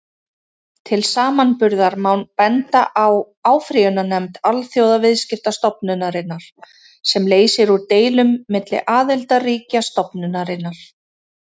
Til samanburðar má benda á áfrýjunarnefnd Alþjóðaviðskiptastofnunarinnar, sem leysir úr deilum milli aðildarríkja stofnunarinnar.